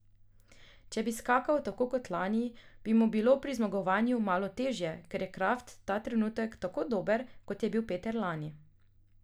Če bi skakal tako kot lani, bi mu bilo pri zmagovanju malo težje, ker je Kraft ta trenutek tako dober, kot je bil Peter lani.